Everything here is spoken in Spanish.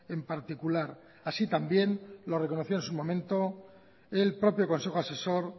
en particular así también lo reconoció en su momento el propio consejo asesor